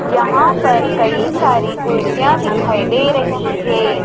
यहां पर कई सारी कुर्सियां दिखाई दे रही हे।